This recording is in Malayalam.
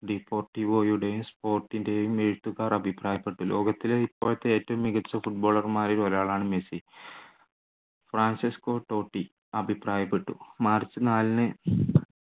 sport ൻ്റെയും എഴുത്തുകാർ അഭിപ്രായപ്പെട്ടു ലോകത്തിലെ ഇപ്പോഴത്തെ ഏറ്റവും മികച്ച footballer മാരിൽ ഒരാളാണ് മെസ്സി. ഫ്രാഞ്ചെസ്‌കോ ടോട്ടി അഭിപ്രായപ്പെട്ടു മാർച്ച് നാലിന്